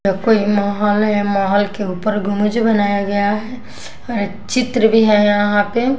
कोई महल है महल के ऊपर गुमज बनाया गया है और चित्र भी है यहाँ पे --